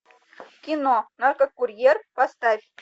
кино наркокурьер поставь